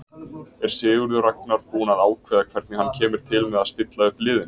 Er Sigurður Ragnar búinn að ákveða hvernig hann kemur til með stilla upp liðinu?